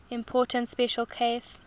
important special case